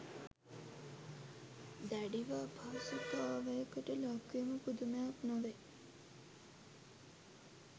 දැඩිව අපහසුතාවයකට ලක්වීම පුදුමයක් නොවේ